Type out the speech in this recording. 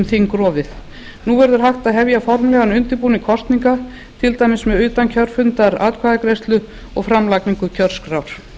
þingrofið nú verður hægt að hefja formlegan undirbúning kosninga til dæmis með utankjörfundaratkvæðagreiðslu og framlagningu kjörskrár